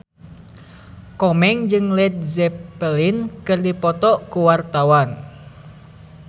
Komeng jeung Led Zeppelin keur dipoto ku wartawan